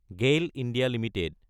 Gayle (India) Ltd